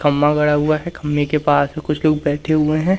खंबा गड़ा हुआ है खंबे के पास कुछ लोग बैठे हुए हैं।